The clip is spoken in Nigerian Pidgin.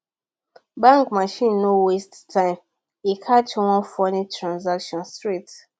bank machine no waste time e catch one funny transaction straight